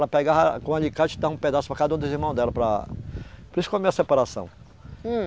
Ela pegava com alicate e dava um pedaço para cada um dos irmãos dela para... Por isso que eu amei a separação. Hum.